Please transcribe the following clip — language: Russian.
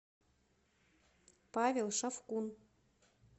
павел шавкун